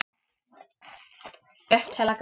Upp til agna.